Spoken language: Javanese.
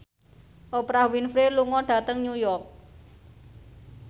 Oprah Winfrey lunga dhateng New York